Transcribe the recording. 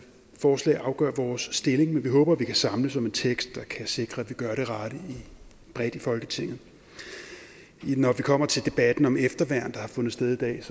forslag og afgøre vores stilling men vi håber at vi kan samles om en tekst der kan sikre at vi gør det rette bredt i folketinget når vi kommer til debatten om efterværn der har fundet sted i dag